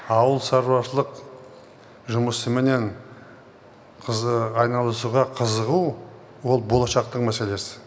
ауылшаруашылық жұмысыменен айналысуға қызығу ол болашақтың мәселесі